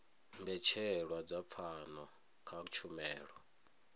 mbetshelwa dza pfano kha tshumelo